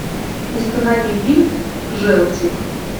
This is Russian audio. установи фильм желтик